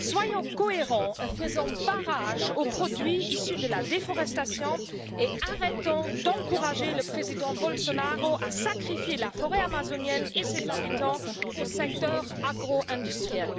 Soyons cohérents, faisons barrage aux produits issus de la déforestation et arrêtons d'encourager le président Bolsonaro à sacrifier la forêt amazonienne et ses habitants au secteur agro industriel.